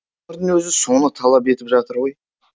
өмірдің өзі соны талап етіп жатыр ғой